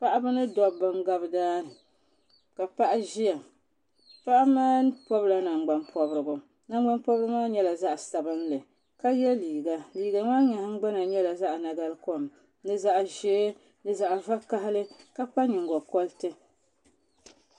Paɣaba mini dabba n gabi daani ka paɣa ʒia paɣa maa pobla nangban pobrigu nangban pobrigu maa nyɛla zaɣa sabinli ka ye liiga liiga maa nahigbana nyɛla zaɣa nagarikom ni zaɣa ʒee ni zaɣa vakahali ka kpa nyingokoriti.